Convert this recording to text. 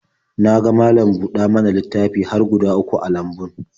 Na malam-buɗa-mana-littafi har guda uku a lambun.